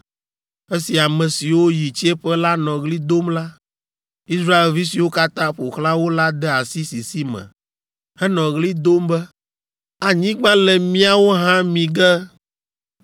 Esi ame siwo yi tsiẽƒe la nɔ ɣli dom la, Israelvi siwo katã ƒo xlã wo la de asi sisi me henɔ ɣli dom be, “Anyigba le míawo hã mi ge.”